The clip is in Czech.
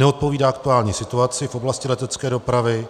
Neodpovídá aktuální situaci v oblasti letecké dopravy